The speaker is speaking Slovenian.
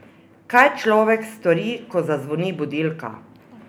Kaj človek stori, ko zazvoni budilka?